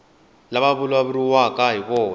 lava ku vulavuriwaka hi vona